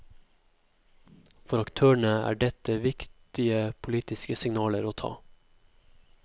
For aktørene er dette viktige politiske signaler å ta.